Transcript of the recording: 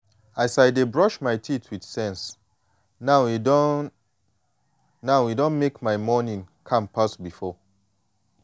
as i dey brush my teeth with sense now e don now e don mek my morning calm pass before.